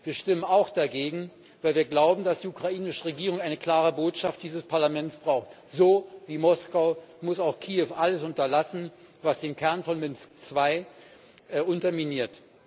Wir stimmen auch dagegen, weil wir glauben, dass die ukrainische Regierung eine klare Botschaft dieses Parlaments braucht So wie Moskau muss auch Kiew alles unterlassen, was den Kern von Minsk II unterminiert.